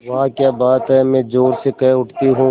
वाह क्या बात है मैं ज़ोर से कह उठती हूँ